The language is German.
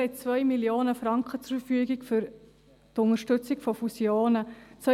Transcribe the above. Wir haben 2 Mio. Franken für die Unterstützung von Fusionen zur Verfügung.